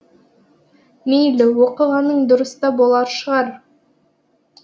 мейлі оқығаның дұрыс та болған шығар